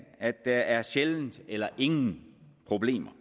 at der sjældent eller ingen problemer